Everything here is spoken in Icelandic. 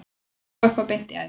Að fá eitthvað beint í æð